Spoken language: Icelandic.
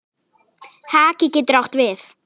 Haki getur átt við